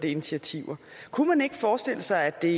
initiativer kunne man ikke forestille sig at det